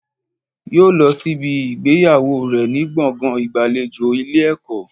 Yóò lọ sí ibi ìgbéyàwó rẹ̀ ní gbọ̀ngàn ìgbàlejò Ilé ẹ̀kọ́